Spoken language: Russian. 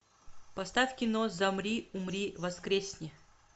поставь кино замри умри воскресни